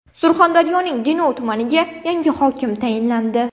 Surxondaryoning Denov tumaniga yangi hokim tayinlandi.